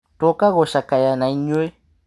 Twoka gũcakaya nainyuĩ.